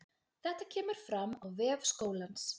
Þetta kemur fram á vef skólans